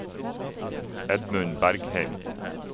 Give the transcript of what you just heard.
Edmund Bergheim